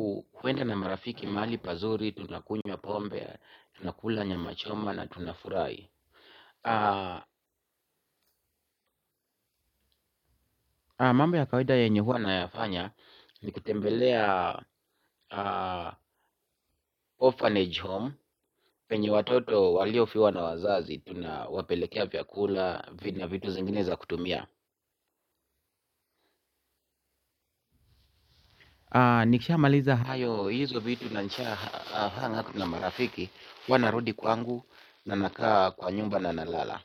huwenda na marafiki mali pazuri, tunakunywa pombe, tunakula nyama choma na tunafurahi. Mambo ya kawaida yenye huwa nayafanya, ni kutembelea orphanage home, penye watoto walio fiwa na wazazi, tunawapelekea vyakula na vitu zingine za kutumia. Nikisha maliza hayo, hizo vitu na marafiki, wanarudi kwangu, nanakaa kwa nyumba na nalala.